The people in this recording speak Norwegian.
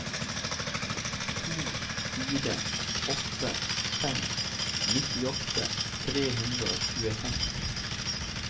to fire åtte fem nittiåtte tre hundre og tjuefem